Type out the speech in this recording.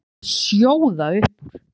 Það var allt að sjóða upp úr.